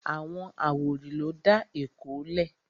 Àwọn àwórì ló dá Èkó lẹ̀